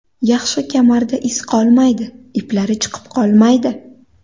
Yaxshi kamarda iz qolmaydi, iplari chiqib qolmaydi.